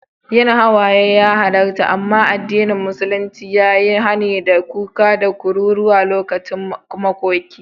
Yin hawaye ya halarta, amma addinin musulunci ya yi hani da kuka da kururuwa lokacin makoki.